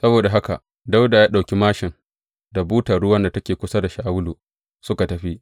Saboda haka Dawuda ya ɗauki māshin da butar ruwan da take kusa da Shawulu suka tafi.